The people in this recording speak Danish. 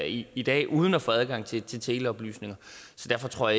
i i dag uden at få adgang til til teleoplysninger så derfor tror